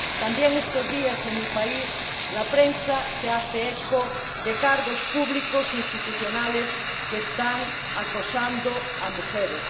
También estos días, en mi país, la prensa se hace eco de cargos públicos institucionales que están acosando a mujeres.